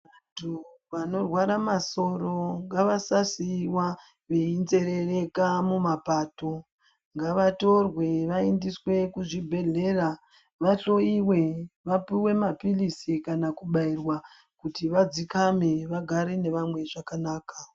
Vantu vanorwara masoro ngavasasiiwa veinzerereka mumapato ngavatorwe vaendeswe kuzvibhedhleya vahloyiwe vaphuwe maphirizi kana kubaiwa kuti vadzikame vagare nevamwe zvakanaka.